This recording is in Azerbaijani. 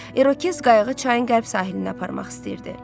İrokez qayıqı çayın qərb sahilinə aparmaq istəyirdi.